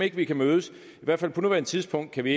ikke vi kan mødes på nuværende tidspunkt kan vi